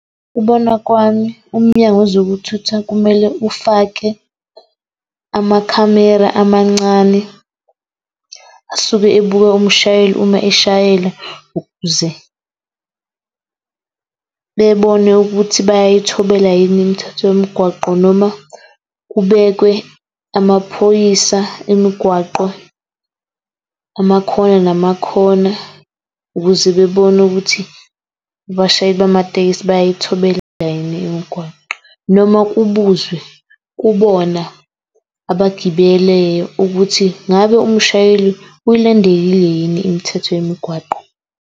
Ukubona kwami uMnyango wezokuThutha kumele ufake amakhamera amancane asuke ebuka umshayeli uma eshayela, ukuze bebone ukuthi bayayithobela yini imithetho yomgwaqo, noma kubekwe amaphoyisa emigwaqo amakhona namakhona ukuze bebone ukuthi abashayeli bamatekisi bayayithobela yini imigwaqo, noma kubuzwe kubona abagibeleyo ukuthi ngabe umshayeli uyilandele yini imithetho yemigwaqo.